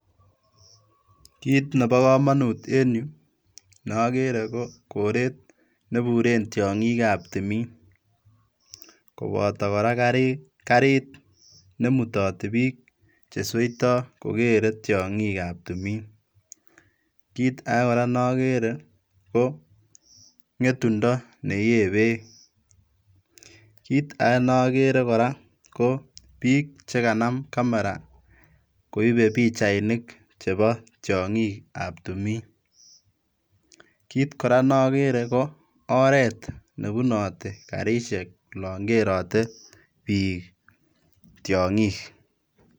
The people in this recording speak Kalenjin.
Kiit neboo komonut en yu neokere kokoret neburen tiongikab timin koboto koraa karit nemutoti bik chesoito kokeree tiongikab timin, kiit akee koraa nokeree koo ngetundo neyee beek, kiit akee nokeree koraa kobik chekanaam camera koibee pichainikab tiongikab timin, kiit koraa nokere koo oret nebunoti karisiek olon kerotee bik tiongik.